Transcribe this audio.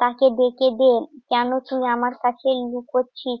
তাকে ডেকে দে, কেন তুই আমার কাছেই লুকোচ্ছিস?